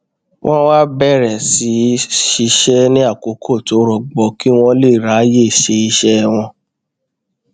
wón wá bèrè sí í ṣiṣé ní àkókò tó rọgbọ kí wón lè ráyè ṣe iṣé wọn